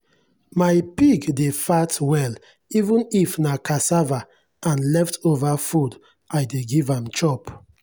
my pig dey fat well even if na cassava and leftover food i dey give am chop.